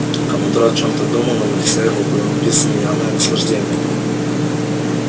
командор о чем-то думал и на лице его было написано явное наслаждение